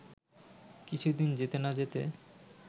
কিছুদিন যেতে না যেতে